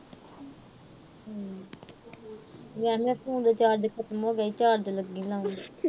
ਮੇਰਾ ਨਾ phone ਦਾ charge ਖਤਮ ਹੋ ਗਿਆ ਸੀ। charge ਲੱਗੀ ਲਾਣ।